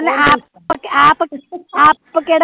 ਤੋਂ ਬੋਲੋ ਆਪ ਆਪ ਕਿਹੜਾ ਕਰਦਾ ਐ